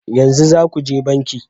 Yanzu za ku je banki